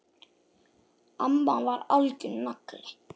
Amma var algjör nagli!